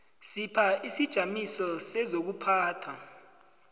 sipha isijamiso sezokuphatha